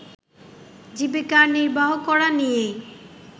জীবিকা নির্বাহ করা নিয়েই